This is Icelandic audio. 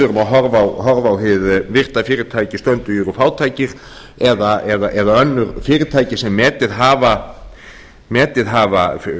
horfa á hið virta fyrirtæki stöndugir og fátækir eða önnur fyrirtæki sem metið hafa